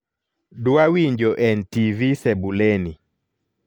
dwa winjo n.t.v sebuleni